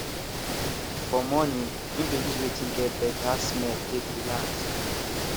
fo rmorning im dey use wetin get better smell take relax